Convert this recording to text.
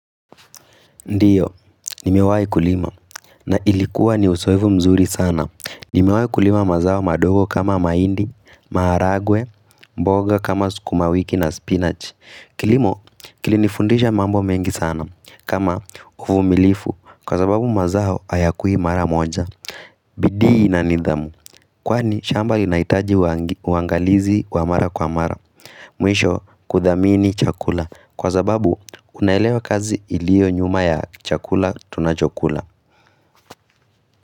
Ndiyo, nimewai kulima na ilikuwa ni uzoefu mzuri sana. Nimewai kulima mazao madogo kama mahindi, maharagwe, mboga kama sukumawiki na spinach. Kilimo, kilinifundisha mambo mengi sana kama uvumilivu kwa sababu mazao hayakui mara moja. Bidii na nidhamu, kwani shamba linaitaji uangalizi wa mara kwa mara Mwisho kudhamini chakula, kwa sababu unaelewa kazi iliyo nyuma ya chakula tunachokula.